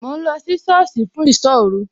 Mò ń lọ sí sọ́ọ̀sì fún ìsọ́ òru